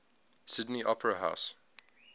sydney opera house